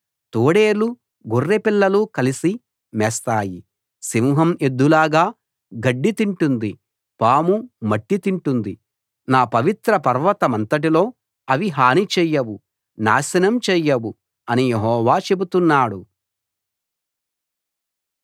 తోడేళ్లు గొర్రెపిల్లలు కలిసి మేస్తాయి సింహం ఎద్దులాగా గడ్డి తింటుంది పాము మట్టి తింటుంది నా పవిత్ర పర్వతమంతట్లో అవి హాని చేయవు నాశనం చేయవు అని యెహోవా చెబుతున్నాడు